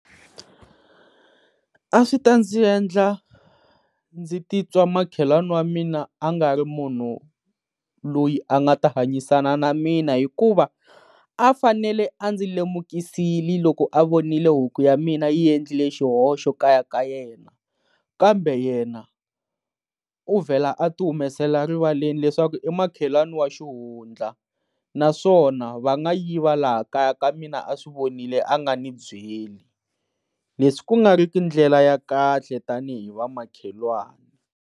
A swi ta ndzi endla ndzi ti twa makhelwani wa mina a nga ri munhu loyi a nga ta hanyisana na mina hikuva a fanele a ndzi lemukisile loko a vonile huku ya mina yi endlile xihoxo kaya ka yena, kambe yena u vela a ti humesela rivaleni leswaku i makhelwani wa xihundla naswona va nga yiva laha kaya ka mina a swi vonile a nga ndzi byeli leswi ku nga ri ki ndlela ya kahle tanihi va makhelwani.